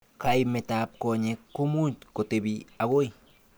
Kaimet ab konyek komuch kotebi akoi.